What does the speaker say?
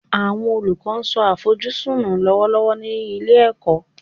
Awọn olukọ n so afojusun nu lọwọlọwọ ni ile-iwe